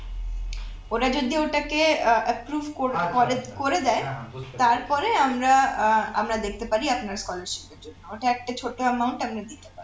ওরা যদি ওটাকে আহ approve ক~ করে~ করে দেয় তারপরে আমরা আহ আমরা দেখতে পারি আপনার scholarship এর জন্য ওটা একটা ছোট্ট amount আমরা দিতে পারি